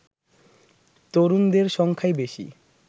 তরুণদের সংখ্যাই বেশি